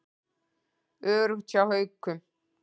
Öruggt hjá Haukum